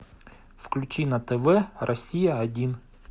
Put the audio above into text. включи на тв россия один